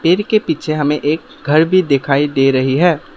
के पीछे हमें एक घर भी दिखाई दे रही है।